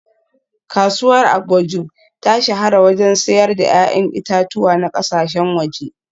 Kasuwar Agboju ta shahara wajen siyar da ‘ya’yan itatuwa na kasashen waje